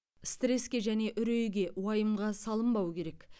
стреске және үрейге уайымға салынбау керек